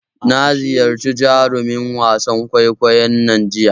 Na ziyarci jarumin wasan kwaikwayon nan jiya.